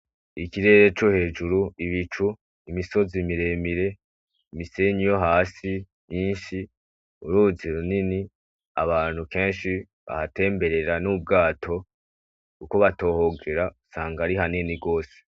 Ikirere co hejuru ibicu imisozi miremire imisenyi yo hasi nyinshi, uruzi runini abantu kenshi bahatemberera n'ubwato kuko batohogera usanga ari hanini gose.